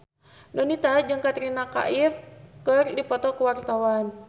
Donita jeung Katrina Kaif keur dipoto ku wartawan